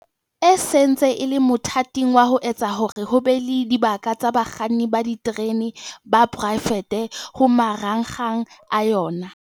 E sentse e le mothating wa ho etsa hore ho be le dibaka tsa bakganni ba diterene ba poraefete ho marangrang a yona.